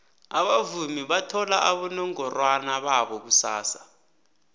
abavumi bathola abonongorwana babo kusasa